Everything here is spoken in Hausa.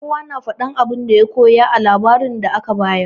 Kowa na faɗin abin da ya koya daga labarin da aka bayar.